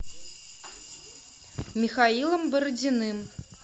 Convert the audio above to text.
михаилом бородиным